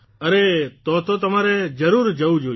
અરે તો તો તમારે જરૂર જવું જોઇએ